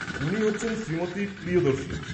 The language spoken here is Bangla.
উনি হচ্ছেন শ্রীমতী প্রিয়দর্শিনী।